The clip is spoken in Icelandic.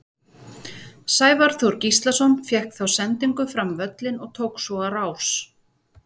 Sævar Þór Gíslason fékk þá sendingu fram völlinn og tók svo á rás.